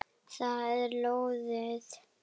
Það er lóðið.